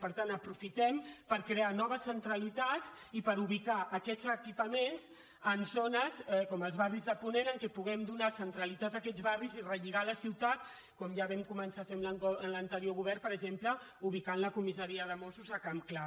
per tant aprofitem per crear noves centralitats i per ubicar aquests equipaments en zones com els barris de ponent en què puguem donar centralitat a aquests barris i relligar la ciutat com ja vam començar a fer en l’anterior govern per exemple ubicant la comissaria de mossos a campclar